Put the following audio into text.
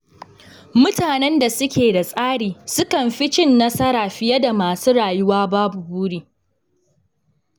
Mutanen da suke da tsari sukan fi cin nasara fiye da masu rayuwa babu buri.